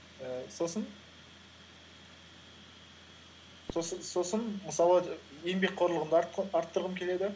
ііі сосын мысалы еңбекқорлығымды арттырғым келеді